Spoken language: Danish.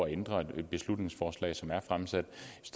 at ændre et beslutningsforslag som er fremsat